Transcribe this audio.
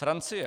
Francie.